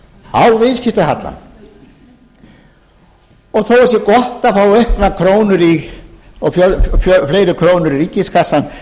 á viðskiptahallann og þó að það sé gott að fá auknar krónur og fleiri krónur í ríkiskassann